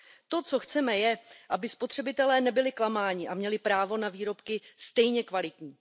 To, co chceme, je, aby spotřebitelé nebyli klamáni a měli právo na výrobky stejně kvalitní.